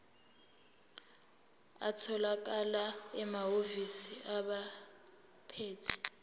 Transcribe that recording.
atholakala emahhovisi abaphethe